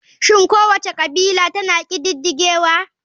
Shin kowace kabila tana ƙididdigewa?